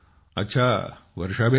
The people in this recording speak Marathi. अच्छा वर्षाबेन